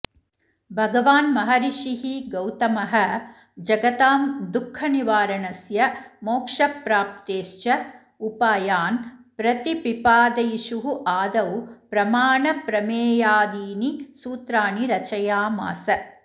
भगवान् महर्षिः गौतमः जगतां दुःखनिवारणस्य मोक्षप्राप्तेश्च उपायान् प्रतिपिपादयिषुः आदौ प्रमाणप्रमेयादीनि सूत्राणि रचयामास